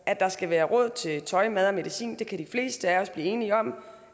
at der skal være råd til tøj mad og medicin kan de fleste af os blive enige om